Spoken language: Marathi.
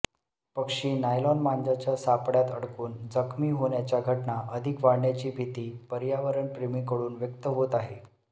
पक्षी नायलॉन मांजाच्या सापळ्यात अडकून जखमी होण्याच्या घटना अधिक वाढण्याची भीती पर्यावरणप्रेमींकडून व्यक्त होत आहे